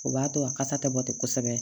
O b'a to a kasa tɛ bɔ ten kosɛbɛ